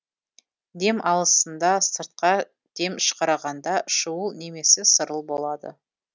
дем алысында сыртқа дем шығарғанда шуыл немесе сырыл болады